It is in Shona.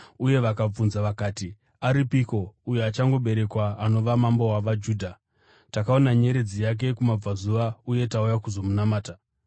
uye vakabvunza vakati, “Aripiko uyo achangoberekwa anova mambo wavaJudha? Takaona nyeredzi yake kumabvazuva, uye tauya kuzomunamata.”